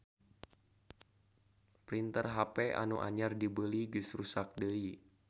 Printer hp anu anyar dibeli geus ruksak deui